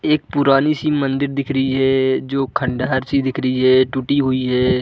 एक पुरानी सी मंदिर दिख रही है जो खंडहर सी दिख रही है टूटी हुई है।